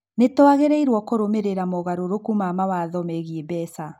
Nĩ twagĩrĩirũo nĩ kũrũmĩrĩra mogarũrũku ma mawatho megiĩ mbeca.